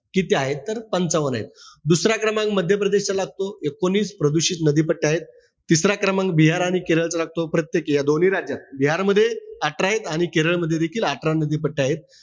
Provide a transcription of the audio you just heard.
किती आहेत तर पंचावन्न आहेत. दुसरा क्रमांक मध्य प्रदेशचा लागतो. एकोणीस प्रदूषित नदी पट्टे आहेत. तिसरा क्रमांक बिहार आणि केरळचा लागतो. प्रत्येकी या दोन्ही राज्यात. बिहारमध्ये अठरा ए, आणि केरळ मध्ये देखील अठरा नदी पट्टे आहेत.